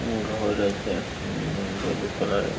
উম ঘর আছে উম ভল্লুক কালার -এর।